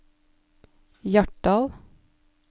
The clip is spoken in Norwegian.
Hjartdal